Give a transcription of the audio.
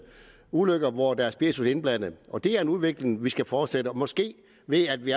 ulykker hvor der er spiritus indblandet det er en udvikling vi skal fortsætte måske ved at vi